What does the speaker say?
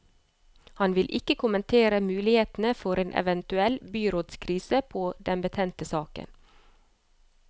Han vil ikke kommentere mulighetene for en eventuell byrådskrise på den betente saken.